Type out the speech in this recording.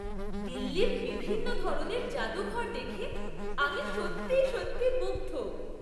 দিল্লির বিভিন্ন ধরনের জাদুঘর দেখে আমি সত্যি সত্যি মুগ্ধ!